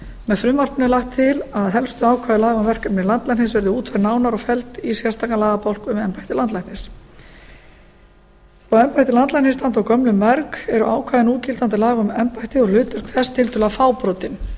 með frumvarpinu er lagt til að helstu ákvæði laga um verkefni landlæknis verði útfærð nánar og felld í sérstakan lagabálk um embætti landlæknis þótt embætti landlæknis standi á gömlum merg eru ákvæði núgildandi laga um embættið og hlutverk þess tiltölulega fábrotin